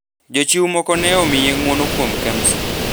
Jochiw moko ne omiye ng’uono kuom Kemsa